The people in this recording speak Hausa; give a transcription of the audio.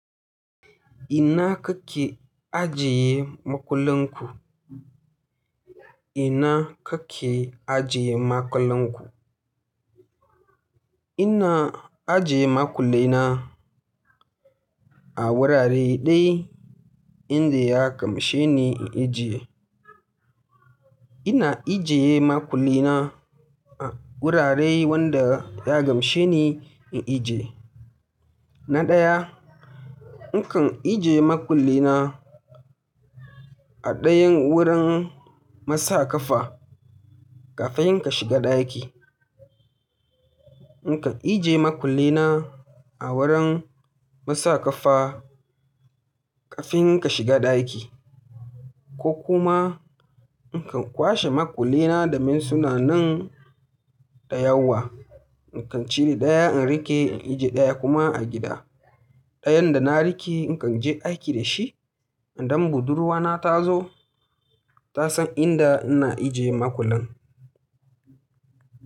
Ina kake ajiye makullinku? Ina kake ajiye makullenku? Ina ajiye makullena a wurare guda daya inda ya gamshe ni in ije. Ina ije makullena a wurare wanda ya gamshe ni in ije. Na daya, nakan ije makullena a dayan wurin masa kafa kafin ka shiga ɗaki. Nakan ije makullena a wurin masa kafa kafin ka shiga ɗaki, ko kuma nakan kwashe makullena da me suna nan da yawa. Nakan cire daya in rike in ije daya kuma a gida. Dayan da na rike nakan je aiki da shi idan budurwa na ta zo, ta san inda ina ije makullen.